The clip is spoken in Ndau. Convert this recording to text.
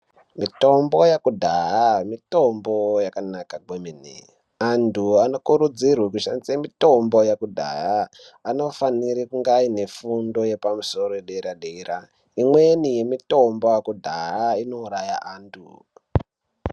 Mitombo ya kudhaya mitombo yakanaka kwe mene antu ano kurudzirwe kushandise mitombo ye kudhaya anofanire aine fundo yepa musoro ye dera dera imweni ye mitombo ye kudhaya ino uraya antu.